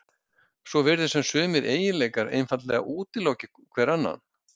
svo virðist sem sumir eiginleikar einfaldlega útiloki hver annan